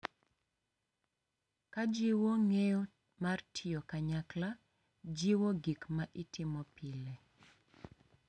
Ka jiwo ng’eyo mar tiyo kanyakla, jiwo gik ma itimo pile,